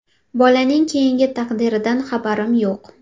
– Bolaning keyingi taqdiridan xabarim yo‘q.